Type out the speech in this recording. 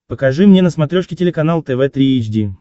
покажи мне на смотрешке телеканал тв три эйч ди